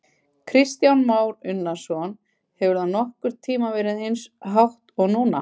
Kristján Már Unnarsson: Hefur það nokkurn tímann verið eins hátt og núna?